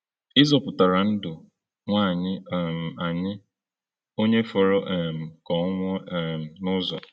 Ị zọpụtara ndụ nwaanyị um anyị, onye fọrọ um ka ọ nwụọ um n’ụzọ.”